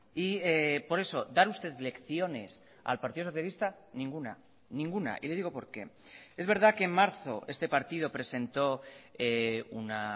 y por eso dar usted lecciones al partido socialista ninguna ninguna y le digo por qué es verdad que en marzo este partido presentó una